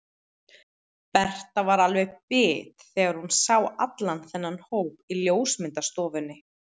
Berta var alveg bit þegar hún sá allan þennan hóp í ljósmyndastofunni.